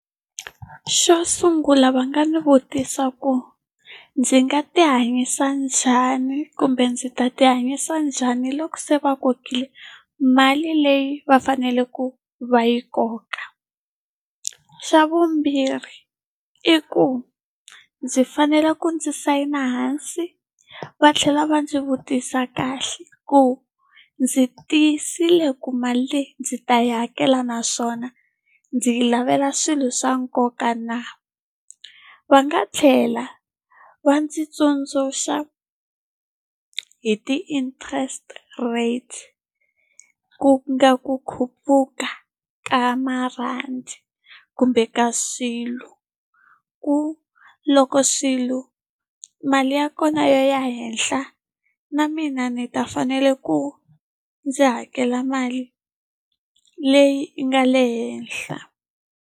Xo sungula va nga ni vutisa ku ndzi nga ti hanyisa njhani kumbe ndzi ta ti hanyisa njhani loko se va kokiwile mali leyi va faneleke va yi koka? Xa vumbirhi i ku ndzi fanele ku ndzi sayina hansi va tlhela va ndzi vutisa kahle ku ndzi tiyisile ku mali ndzi ta yi hakela naswona ndzi yi lavela swilo swa nkoka na? Va nga tlhela va ndzi tsundzuxa hi ti-interest rates, ku nga ku khuphuka ka marhandi kumbe ka swilo. Ku loko swilo mali ya kona yo ya henhla, na mina ni ta fanela ku ndzi hakela mali leyi yi nga le henhla.